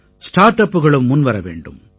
star அப்புகளும் முன்வர வேண்டும்